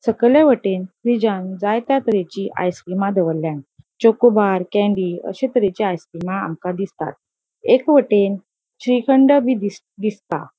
सकेले वटेन फ्रिजान जायत्या तरेची आइस क्रिमा दोवोरल्या चोकोबार कैन्डी अशे तरेचे आइस क्रिमा आमका दिसतात एक वटेन श्रीखंड बी दिस ता दिसता.